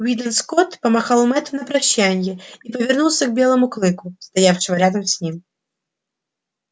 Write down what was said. уидон скотт помахал мэтту на прощанье и повернулся к белому клыку стоявшему рядом с ним